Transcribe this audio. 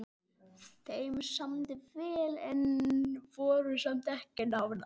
Þeim samdi vel en voru samt ekki nánar.